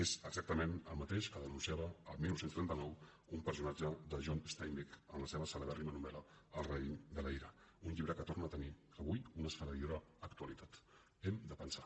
és exactament el mateix que denunciava el dinou trenta nou un personatge de john steinbeck en la seva cele·bèrrima novel·la el raïm de la ira un llibre que torna a tenir avui una esfereïdora actualitat hem de pensar